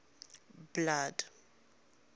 blood